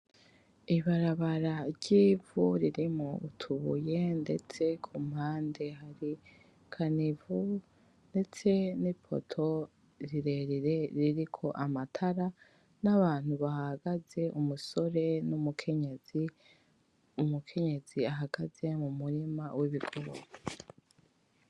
Ibarabara ry’ivu ririmwo utubuye, ndetse ku mpande hari kanivo, ndetse ni poto rirerire ririko amatara n’abantu bahahagaze, umusore n’umukenyezi. Umukenyezi ahagaze mu murima w’ibigori.